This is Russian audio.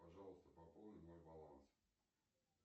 пожалуйста пополни мой баланс